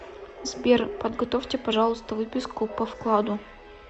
сбер подготовьте пожалуйста выписку по вкладу